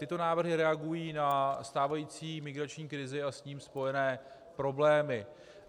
Tyto návrhy reagují na stávající migrační krizi a s tím spojené problémy.